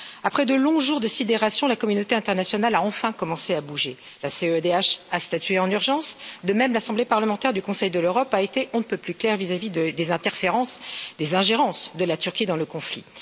Après de longs jours de sidération, la communauté internationale a enfin commencé à bouger. La CEDH a statué en urgence, de même, l'Assemblée parlementaire du Conseil de l'Europe a été on ne peut plus claire vis à vis des ingérences de la Turquie dans le conflit.